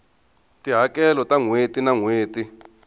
tihakelo ta nhweti na nhweti